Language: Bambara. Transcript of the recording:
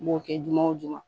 N m'o kɛ juma o juma